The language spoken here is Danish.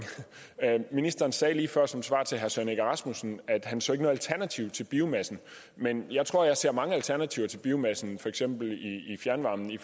ministeren sagde lige før som svar til herre søren egge rasmussen at han ikke så noget alternativ til biomassen men jeg tror at jeg ser mange alternativer til biomassen for eksempel i fjernvarme i